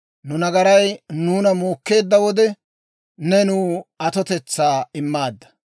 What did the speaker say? Nu nagaray nuuna muukkeedda wode, ne nuw atotetsaa immaadda.